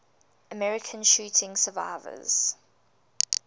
american shooting survivors